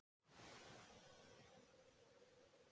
Ekki tjáir að sofa til sæfara.